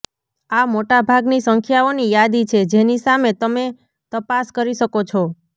આ મોટા ભાગની સંખ્યાઓની યાદી છે જેની સામે તમે તપાસ કરી શકો છો